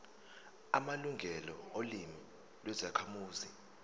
amalungelo olimi lwezakhamuzi